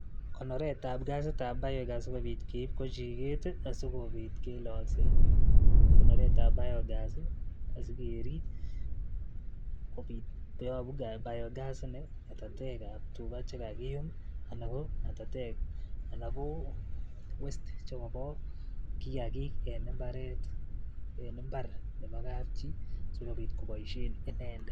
Konoret ab ngasit nebo biogas asikobit keib kwoo chiket sikobit kilolsen konoret ab biogas asikerep olee yopu biogas ko ngatatek ab tukaa chekakiyum ngatatek ana ko [cs[westage] chopo kiakiik en imparet i impar nepo kab chii asikopit kobosien inendet.